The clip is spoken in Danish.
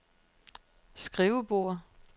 skrivebord